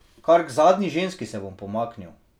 Kar k zadnji ženski se bom pomaknil.